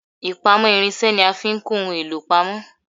Ipamo irinse ni a fi ń kọ ohun èlò pamọ